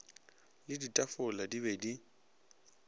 le ditafola di be di